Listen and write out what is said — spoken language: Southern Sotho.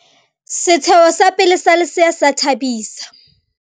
setsheho sa pele sa lesea se a thabisa